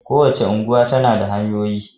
Kowace unguwa tana da hanyoyi.